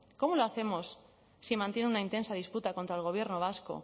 cómo lo hacemos si mantienen una intensa disputa contra el gobierno vasco